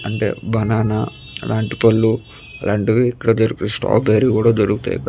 అంటే బననా లాంటి పళ్ళు ఇలాంటివి ఇక్కడ రెడ్ స్ట్రాబెరీ కూడా ఇక్కడ దొరుకుతాయి.